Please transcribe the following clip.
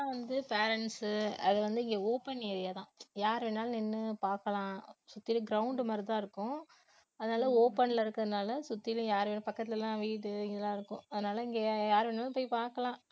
இங்கெல்லாம் வந்து parents உ வந்து இங்க open area தான். யாரு வேணாலும் நின்னு பாக்கலாம் சுத்திலும் ground மாதிரி தான் இருக்கும் அதனால open ல இருக்கிறதுனால சுத்திலும் யாரு வேணா~ பக்கத்துல வீடு இதெல்லாம் இருக்கும் அதனால இங்க யாரு வேணுமானாலும் போய் பாக்கலாம்